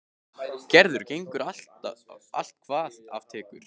Gerður gengur allt hvað af tekur.